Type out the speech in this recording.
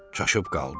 Çaşıb qaldı.